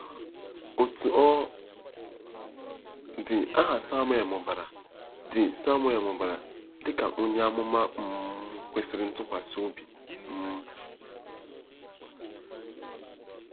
Otú ọ dị, aha Samuel mụbara dị Samuel mụbara dị ka onye amụma um kwesịrị ntụkwasị obi. um